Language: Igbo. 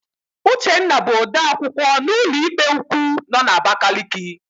Uchenna bụ odeakwụkwọ na ụlọikpe ukwu nọ n'Abakaliki.